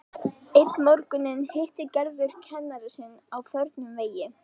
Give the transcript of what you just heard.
Einn morguninn hittir Gerður kennara sinn á förnum vegi.